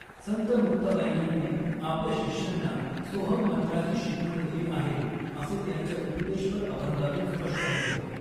संत मुक्ताबाई यांनी आपल्या शिष्यांना सोहम् मंत्राची शिकवण दिली आहे असे त्यांच्या उपदेशपर अभंगातून स्पष्ट होते.